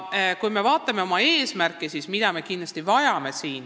Vaatame oma eesmärke edasi, mida me veel kindlasti vajame.